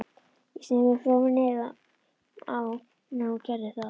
Ég sneri mér frá á meðan hún gerði það.